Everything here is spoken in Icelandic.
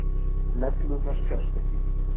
Neglurnar sjást ekki.